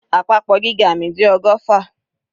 Àpapọ̀ gíga mi jẹ́ ọgọ́fà.